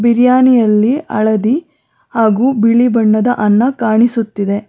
ಬಿರಿಯಾನಿ ಅಲ್ಲಿ ಹಳದಿ ಹಾಗೂ ಬಿಳಿ ಬಣ್ಣದ ಅನ್ನ ಕಾಣಿಸುತ್ತಿದೆ.